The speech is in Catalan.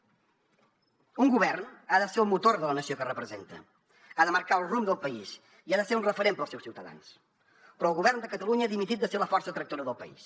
un govern ha de ser el motor de la nació que representa ha de marcar el rumb del país i ha de ser un referent per als seus ciutadans però el govern de catalunya ha dimitit de ser la força tractora del país